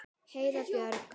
Heiða Björg.